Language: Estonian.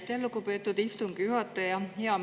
Aitäh, lugupeetud istungi juhataja!